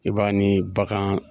I b'a ni bagan.